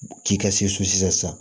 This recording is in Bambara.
Ci ka se so sisan